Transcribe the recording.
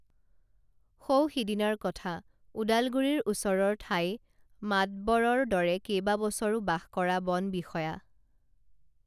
সৌ সিদিনাৰ কথা ওদালগুৰিৰ ওচৰৰ ঠাই মাতব্বৰৰ দৰে কেইবাবছৰো বাস কৰা বনবিষয়া